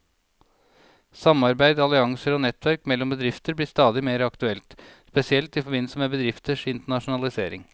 Samarbeid, allianser og nettverk mellom bedrifter blir stadig mer aktuelt, spesielt i forbindelse med bedrifters internasjonalisering.